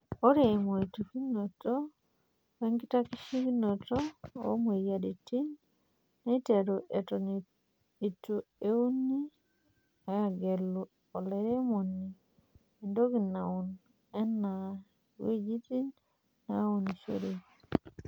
Ore emoitikinoto wenkitashekinoto oo moyiaritin neiteru eton eitu egelu olairemoni entoki naun enaa eng'weji naunishore.